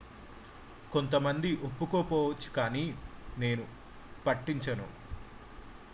"""""""కొంతమంది ఒప్పుకోకపోవచ్చు కానీ నేను పట్టించను.""